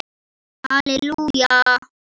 Halli Júlía!